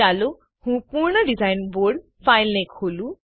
ચાલો હું પૂર્ણ ડીઝાઈન બોર્ડ ફાઈલને ખોલું